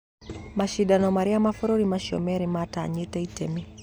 Macindano marĩa mabũrũri macio merĩ matanyitĩte itemi.